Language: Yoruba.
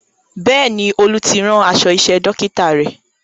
Bẹ́ẹ̀ni, Olú ti rán aṣọ iṣẹ́ Dókítà rẹ̀